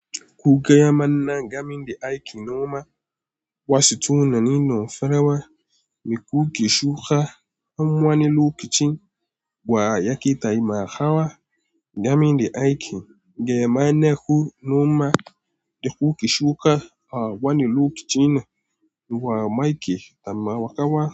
Ku gaya mana game da aikin noma wa situna ninu farawa, me kuke shuka, an wane lokacin, wa yake taimakawa game da aiki, ga mane ku noma da kuke shuka a wane lokaci ne, wa yake taimakawa.